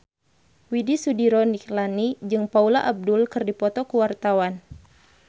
Widy Soediro Nichlany jeung Paula Abdul keur dipoto ku wartawan